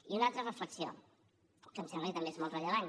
i una altra reflexió que em sembla que també és molt rellevant